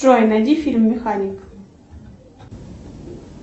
джой найди фильм механик